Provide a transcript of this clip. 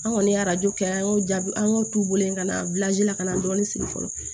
An kɔni ye arajo kɛ an y'o jaabi an y'o t'u wele ka na la ka na dɔɔnin siri fɔlɔ